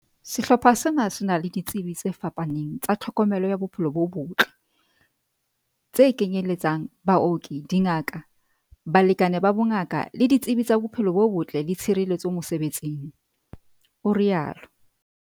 "Sehlopha sena se na le ditsebi tse fapaneng tsa tlhokomelo ya bophelo bo botle, tse kenye letsang, baoki, dingaka, balekani ba bongaka le ditsebi tsa bophelo bo botle le tshireletso mosebe tsing," o rialo.